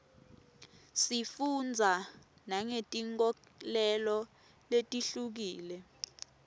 sifundza nangetinkholelo letihlukile